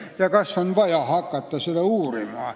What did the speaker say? Ja kas ongi vaja hakata seda tegema?